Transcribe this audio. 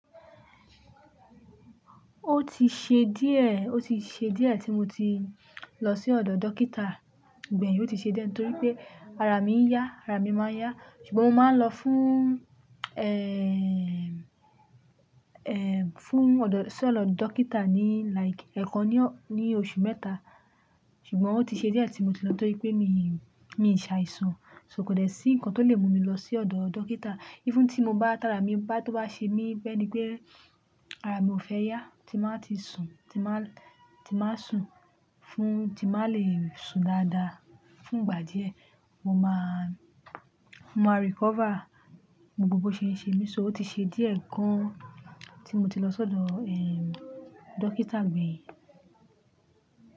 Ó ti ṣe díẹ̀, ó ti ṣe díẹ̀ tí mo ti lọ sí ọ̀dọ̀ dókítà gbẹ̀yìn, ó ti ṣe díẹ̀ torí pé ara mi ń yá, ara mi máa ń yá. Ṣùgbọ́n mo máa ń lọ fúún, ẹẹẹ, fún ọ̀dọ̀, sí ọ̀dọ̀ dókítà ní like ẹ̀ẹ̀kan ní ọ̀, ní oṣù mẹ́ta. Ṣùgbọ́n ó ti ṣe díẹ̀ tí mo ti lọ torí pé míìí, mi ń ṣàìsàn, so kò lè sí ǹkan tó le mú mi lọ sí ọ̀dọ̀ dókítà. Even tí mo bá tára, mi bá tó bá ṣe mí bẹ́ ni pé ara mi ò fẹ́ yá tí máa ti sùn, tí máa, tí máa sùn fún, tí máa le sùn dáadáa. Fún ìgbà díẹ̀ mo máa, mo máa recover. Gbogbo bo ṣe ń ṣe mí só, ó ti ṣe díẹ̀ gan tí mo ti lọ sọ́dọ̀, eeee, dókítà gbẹ̀yìn.